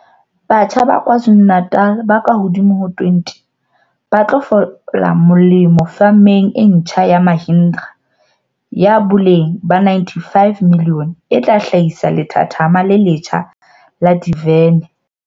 Batjha ba KwaZu lu-Natal ba kahodimo ho 20 ba tlo fola molemo femeng e ntjha ya Mahindra ya boleng ba R95 milione e tla hla hisa lethathama le letjha la divene